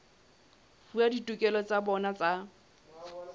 fuwa ditokelo tsa bona tsa